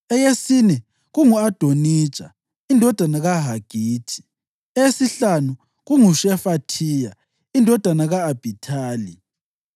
eyesine kungu-Adonija indodana kaHagithi; eyesihlanu kunguShefathiya indodana ka-Abhithali;